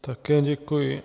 Také děkuji.